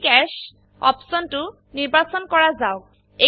in cash অপশনটো নিৰ্বাচন কৰা যাওক